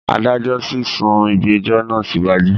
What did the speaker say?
Adájọ tí sún ìgbẹ̀jọ́ náà síwájú.